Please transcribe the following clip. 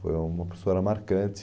Foi uma professora marcante.